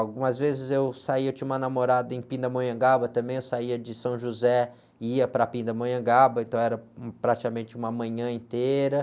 Algumas vezes eu saía, eu tinha uma namorada em Pindamonhangaba também, eu saía de São José e ia para Pindamonhangaba, então era, praticamente uma manhã inteira.